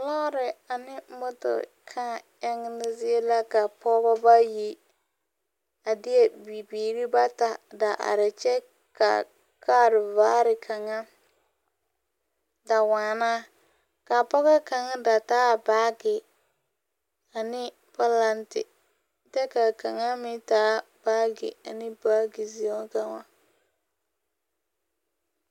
Lɔɔre ane moto kãã eŋemo zie la ka Pɔgeba bayi a deɛ Bibiiri bata da are, kyɛ ka kaare vaare kaŋa da waana. Kaa pɔgɔ kaŋa da taa baage ane pɔlante, kyɛ ka kaŋa meŋ taa baage ane baage zeo kaŋa.